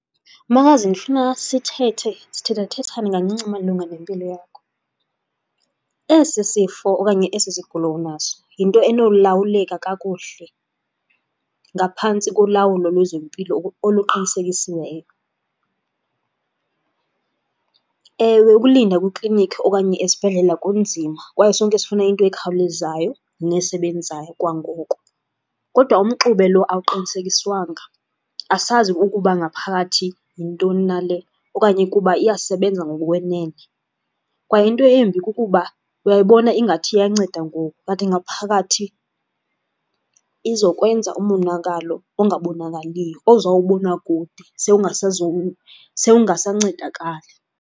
Makazi, ndifuna sithethe, sithethathethane kancinci malunga nempilo yakho. Esi sifo okanye esi sigulo unaso yinto enolawuleka kakuhle ngaphantsi kolawulo lwezempilo oluqinisekisiweyo. Ewe, ukulinda kwiikliniki okanye esibhedlela kunzima kwaye sonke sifuna into ekhawulezayo nesebenzayo kwangoku, kodwa umxube lo awuqinisekiswanga. Asazi ukuba ngaphakathi yintoni na le okanye kuba iyasebenza ngokukwenene kwaye into embi kukuba uyayibona ingathi iyanceda ngoku, kanti ngaphakathi izokwenza umonakalo ongabonakaliyo, ozawubona kude sewungasancedakali.